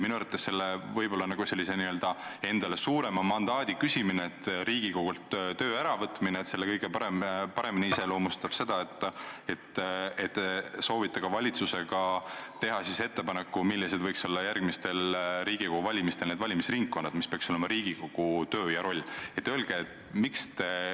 Minu arvates võib-olla endale suurema mandaadi küsimist, Riigikogult töö äravõtmist iseloomustab kõige paremini see, et te soovite valitsusega teha ettepaneku, millised võiks olla järgmistel Riigikogu valimistel valimisringkonnad, mis peaks olema Riigikogu töö ja roll.